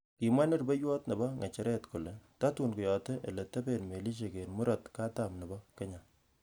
Kimwa nerubeiywot nebo ng'echeret, kole tatun keyote ele taben melisiek en Murot katam nebo Kenya.